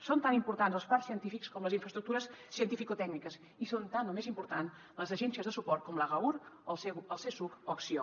són tan importants els parcs científics com les infraestructures cientificotècniques i són tan o més importants les agències de suport com l’agaur el csuc o acció